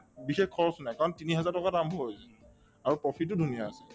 বিশেষ খৰচ নাই কাৰণ তিনিহেজাৰ টকাত আৰম্ভ হৈ যায় আৰু profit তো ধুনীয়া আছে